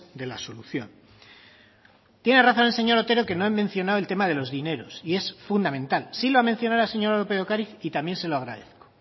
de la solución tiene razón el señor otero que no he mencionado el tema de los dineros y es fundamental sí lo ha mencionado la señora lópez de ocariz y también se lo agradezco